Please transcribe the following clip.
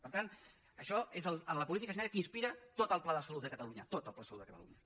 per tant això és la política sanitària que inspira tot el pla de salut de catalunya tot el pla de salut de catalunya